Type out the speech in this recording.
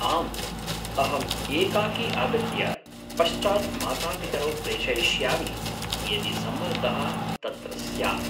आम्, अहम् एकाकी आगत्य पश्चात् मातापितरौ प्रेषयिष्यामि यदि सम्मर्दः तत्र स्यात्।